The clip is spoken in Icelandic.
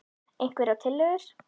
Einhverjar tillögur??